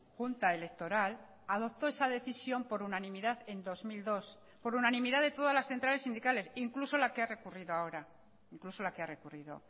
junta electoral adoptó esa decisión por unanimidad en dos mil dos por unanimidad de todas las centrales sindicales incluso la que ha recurrido ahora incluso la que ha recurrido